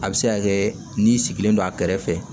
A bɛ se ka kɛ n'i sigilen don a kɛrɛfɛ